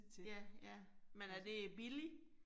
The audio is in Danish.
Ja, ja. Men er det billigt?